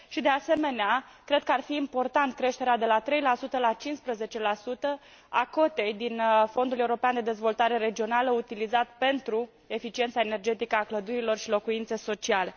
de asemenea, cred că ar fi importantă creșterea, de la 3 la 15, a cotei din Fondul european de dezvoltare regională, utilizată pentru eficiența energetică a clădirilor și locuințe sociale.